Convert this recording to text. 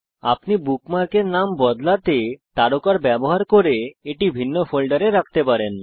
আপনি বুকমার্কের নাম পরিবর্তন করতে তারকার ব্যবহার করে এটি ভিন্ন ফোল্ডারে রাখতে পারেন